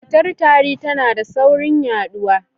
Cutar tari tana da saurin yaɗuwa.